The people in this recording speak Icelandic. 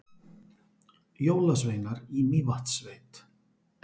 Jólasveinar í Mývatnssveit